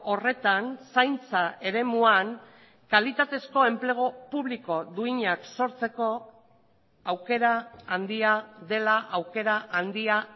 horretan zaintza eremuan kalitatezko enplegu publiko duinak sortzeko aukera handia dela aukera handia